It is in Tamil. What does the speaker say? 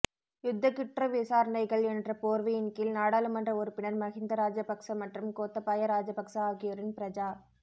யுத்த குற்ற விசாரணைகள் என்ற போர்வையின் கீழ் நாடாளுமன்ற உறுப்பினர் மஹிந்த ராஜபக்ச மற்றும் கோத்தபாய ராஜபக்ச ஆகியோரின் பிரஜா